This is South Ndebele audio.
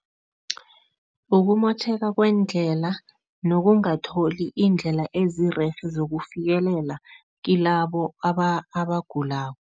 Ukumotjheka kweendlela nokungatholi iindlela ezirerhe sokufikelela kilabo abagulako.